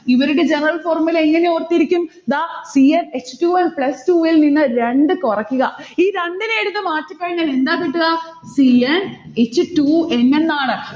ഇവരുടെ general formula എങ്ങനെ ഓർത്തിരിക്കും? ദാ c n h two n plus two ഇൽനിന്ന് രണ്ട് കുറക്കുക. ഈ രണ്ടിനെ എടുത്ത് മാറ്റിക്കഴിഞ്ഞാൽ എന്താ കിട്ടുക? c n h two n എന്നാണ്.